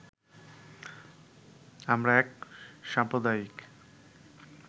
আমরা এক সাম্প্রদায়িক